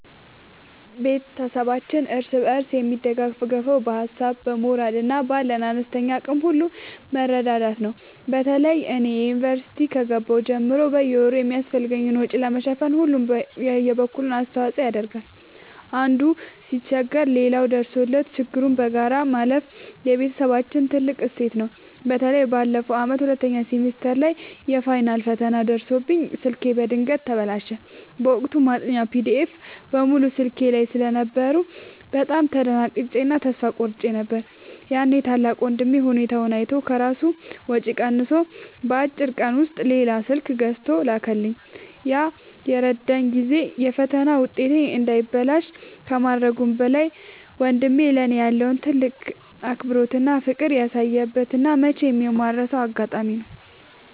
ቤተሰባችን እርስ በርስ የሚደጋገፈው በሀሳብ፣ በሞራል እና ባለን አነስተኛ አቅም ሁሉ በመረዳዳት ነው። በተለይ እኔ ዩኒቨርሲቲ ከገባሁ ጀምሮ በየወሩ የሚያስፈልገኝን ወጪ ለመሸፈን ሁሉም የበኩሉን አስተዋጽኦ ያደርጋል። አንዱ ሲቸገር ሌላው ደርሶለት ችግሩን በጋራ ማለፍ የቤተሰባችን ትልቅ እሴት ነው። በተለይ ባለፈው ዓመት ሁለተኛ ሴሚስተር ላይ የፋይናል ፈተና ደርሶብኝ ስልኬ በድንገት ተበላሸ። በወቅቱ ማጥኛ ፒዲኤፎች (PDFs) በሙሉ ስልኬ ላይ ስለነበሩ በጣም ደንግጬ እና ተስፋ ቆርጬ ነበር። ያኔ ታላቅ ወንድሜ ሁኔታዬን አይቶ ከራሱ ወጪ ቀንሶ በአጭር ቀን ውስጥ ሌላ ስልክ ገዝቶ ላከልኝ። ያ የረዳኝ ጊዜ የፈተና ውጤቴ እንዳይበላሽ ከማድረጉም በላይ፣ ወንድሜ ለእኔ ያለውን ትልቅ አክብሮትና ፍቅር ያሳየበት እና መቼም የማልረሳው አጋጣሚ ነው።